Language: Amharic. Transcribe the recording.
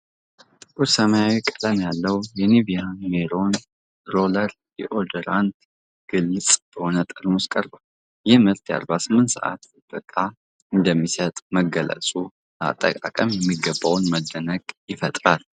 ጥቁር ሰማያዊ ቀለም ያለው የኒቬያ ሜን ሮለር ዲኦድራንት ግልጽ በሆነ ጠርሙስ ቀርቧል። ይህ ምርት የ48 ሰዓት ጥበቃ እንደሚሰጥ መገለጹ፣ ለአጠቃቀሙ የሚገባውን መደነቅ ይፈጥራል።